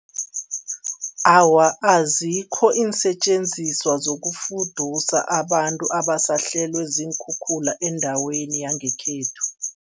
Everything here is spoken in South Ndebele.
Awa, azikho iinsetjenziswa zokufudusa abantu abasahlelwe ziinkhukhula endaweni yangekhethu.